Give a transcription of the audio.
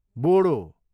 Bodo